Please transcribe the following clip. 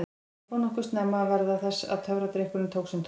Ég fór nokkuð snemma að verða þess var að töfradrykkurinn tók sinn toll.